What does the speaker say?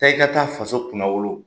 Taa i ka taa faso kunnawolo